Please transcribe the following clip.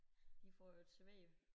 De får jo det serveret